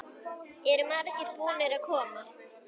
Eru margir búnir að koma?